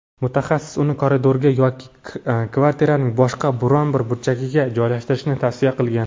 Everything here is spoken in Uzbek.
Mutaxassis uni koridorga yoki kvartiraning boshqa biron-bir burchagiga joylashtirishni tavsiya qilgan.